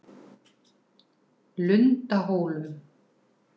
Lundahólum